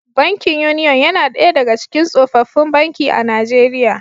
Bankin Union yana daya daga cikin tsofaffin banki a Najeriya